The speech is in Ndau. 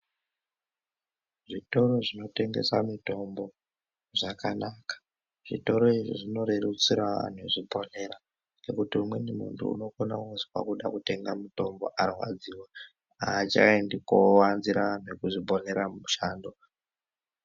Zvitoro zvinotengesa mitombo zvakanaka, zvitoro zvinorerutsira vanhu kuzviponera ngekuti umweni muntu unokona kuzwa kude kutenga mitombo arwadziwa, haachaindi kowanzira nekuzviponera mumushando.